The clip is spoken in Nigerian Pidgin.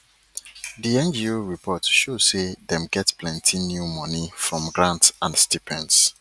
di ngo report show say dem get plenty new money from grant and stipend